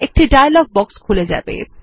একটি dialog box খুলে যাবে